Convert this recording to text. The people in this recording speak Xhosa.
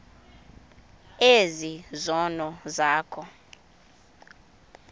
ezi zono zakho